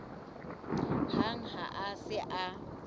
hang ha a se a